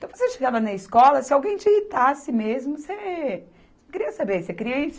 Então, você chegava na escola, se alguém te irritasse mesmo, você não queria saber, você queria